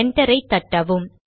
enter ஐ தட்டவும்